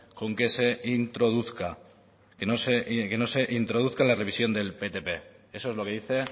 con que se introduzca que no se introduzca en la revisión del ptp eso es lo que dice